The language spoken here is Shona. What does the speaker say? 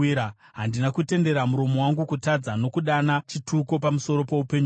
handina kutendera muromo wangu kutadza, nokudana chituko pamusoro poupenyu hwake,